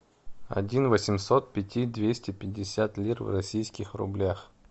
один восемьсот пяти двести пятьдесят лир в российских рублях